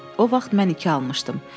O vaxt mən iki almışdım.